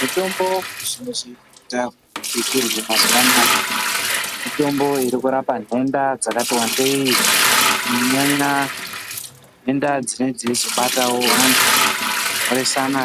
Mitombo mizhinji dza bitiuno mazuwa anaa mitombo iri kurapa nhenda dzakati wandei kunyanya nhenda dzinee dzeizobatawo vanhu mhoresana